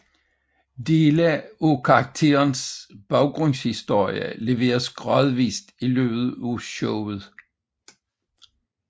Dele af karakterens baggrundshistorie leveres gradvist i løbet af showet